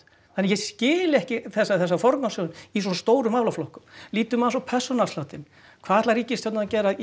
þannig að ég skil ekki þessa þessa forgangsröðun í svona stórum málaflokkum lítum aðeins á persónuafsláttinn hvað ætlar ríkisstjórnin að gera í